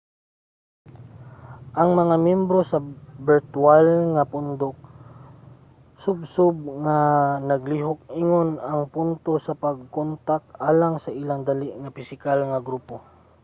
ang mga myembro sa birtwal nga pundok subsob nga naglihok ingon ang punto sa pagkontak alang sa ilang dali nga pisikal nga grupo